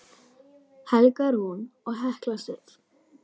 Helga Rún og Hekla Sif.